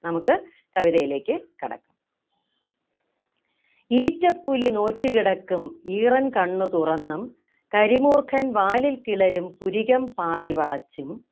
നമുക്ക് കവിതയിലേക്ക് കടക്കാം ഈറ്റപ്പുലി നോറ്റു കിടക്കും ഈറൻകണ്ണു തുറന്നും കരിമൂർഖൻ വാലിൽ കിളരും പുരികം പാതി വളച്ചും